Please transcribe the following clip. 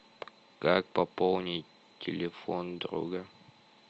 как пополнить телефон друга